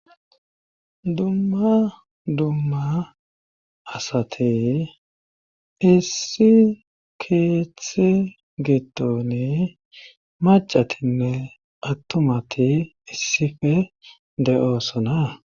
Dumma dumma asate issi keeththe gitoni macatinne attumati issife de7oosona